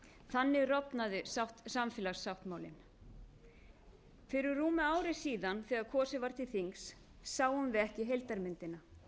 þannig rofnaði samfélagssáttmálinn fyrir rúmu ári þegar kosið var til þings sáum við ekki heildarmyndina